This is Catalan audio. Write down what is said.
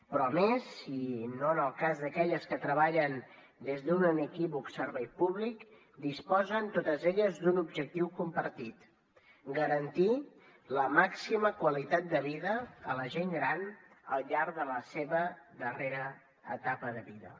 però a més si no en el cas d’aquelles que treballen des d’un inequívoc servei públic disposen totes elles d’un objectiu compartit garantir la màxima qualitat de vida a la gent gran al llarg de la seva darrera etapa de vida